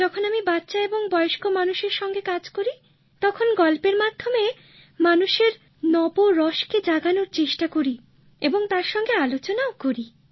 যখন আমি বাচ্চা এবং বয়স্ক মানুষের সাথে কাজ করি তখন গল্পের মাধ্যমে মানুষের নবরসকে জাগানোর চেষ্টা করি এবং তার সঙ্গে আলোচনাও করি